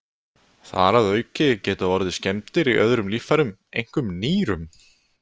Þar að auki geta orðið skemmdir í öðrum líffærum, einkum nýrum.